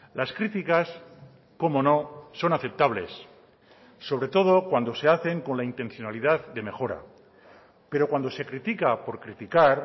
las criticas cómo no son aceptables sobre todo cuando se hacen con la intencionalidad de mejora pero cuando se critica por criticar